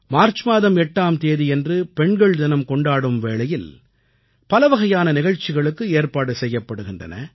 March மாதம் 8ஆம் தேதியன்று பெண்கள் தினம் கொண்டாடும் வேளையில் பலவகையான நிகழ்ச்சிகளுக்கு ஏற்பாடு செய்யப்படுகின்றன